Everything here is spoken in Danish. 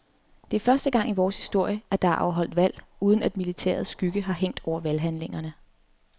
Det er første gang i vores historie, at der er afholdt valg, uden at militærets skygge har hængt over valghandlingerne.